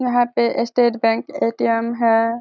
यहाँ पे state bank ATM. है।